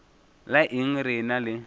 la eng re ena le